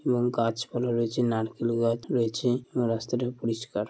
এবং গাছপালা রয়েছে। নারকেল গাছ রয়েছে এবং রাস্তাটা পরিষ্কার।